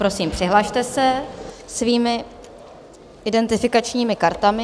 Prosím, přihlaste se svými identifikačními kartami.